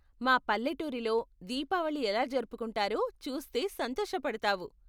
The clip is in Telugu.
మా పల్లెటూరిలో దీపావళి ఎలా జరుపుకుంటారో చూస్తే సంతోషపడతావు.